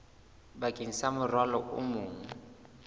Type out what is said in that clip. bakeng sa morwalo o mong